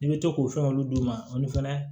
I bɛ to k'o fɛn olu d'u ma olu fɛnɛ